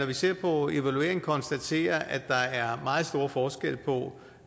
vi ser på evalueringen konstatere at der er meget store forskelle på